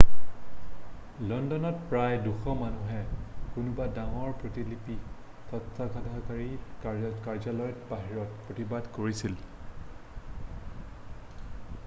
লণ্ডনত প্ৰায় 200 মানুহে কোনোবা ডাঙৰ প্ৰতিলিপি স্তত্বাধিকাৰীৰ কাৰ্য্যালয়ৰ বাহিৰত প্ৰতিবাদ কৰিছিল